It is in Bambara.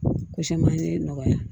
Ko caman ye nɔgɔya ye